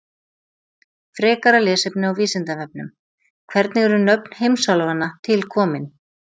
Frekara lesefni á Vísindavefnum: Hvernig eru nöfn heimsálfanna til komin?